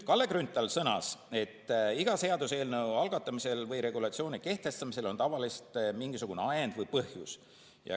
Kalle Grünthal sõnas, et iga seaduseelnõu algatamisel või regulatsiooni kehtestamisel on tavaliselt mingisugune ajend või põhjus.